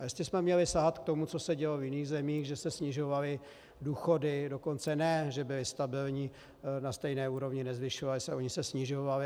A jestli jsme měli sahat k tomu, co se dělo v jiných zemích, že se snižovaly důchody, dokonce ne že byly stabilní, na stejné úrovni, nezvyšovaly se, ony se snižovaly.